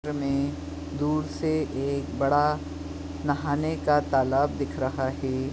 चित्र में एक दूर से एक बड़ा नहाने का तालाब दिख रहा है।